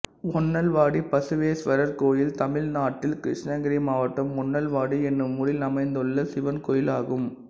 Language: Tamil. ஒன்னல்வாடி பசுவேஸ்வரர் கோயில் தமிழ்நாட்டில் கிருஷ்ணகிரி மாவட்டம் ஒன்னல்வாடி என்னும் ஊரில் அமைந்துள்ள சிவன் கோயிலாகும்